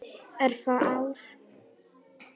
Örfá ár.